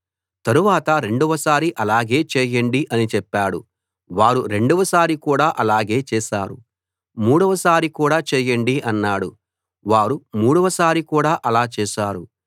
తరువాత రెండవ సారి అలాగే చేయండి అని చెప్పాడు వారు రెండవ సారి కూడా ఆలాగే చేశారు మూడవ సారి కూడా చేయండి అన్నాడు వారు మూడవ సారి కూడా అలా చేశారు